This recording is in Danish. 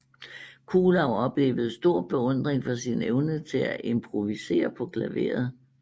Kuhlau oplevede stor beundring for sin evne til at improvisere på klaveret